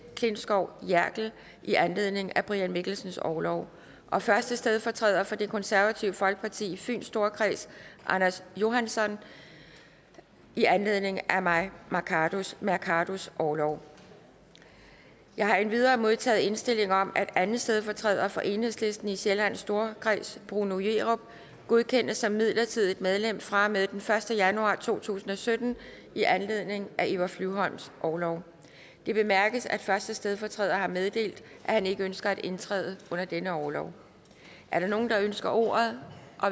klintskov jerkel i anledning af brian mikkelsens orlov og første stedfortræder for det konservative folkeparti i fyns storkreds anders johansson i anledning af mai mercados orlov jeg har endvidere modtaget indstilling om at anden stedfortræder for enhedslisten i sjællands storkreds bruno jerup godkendes som midlertidigt medlem fra og med den første januar to tusind og sytten i anledning af eva flyvholms orlov det bemærkes at første stedfortræder har meddelt at han ikke ønsker at indtræde under denne orlov er der nogen der ønsker ordet